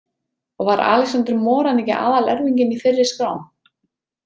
Og var Alexander Moran ekki aðalerfinginn í fyrri skrám?